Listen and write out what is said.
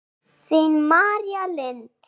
Þín, María Lind.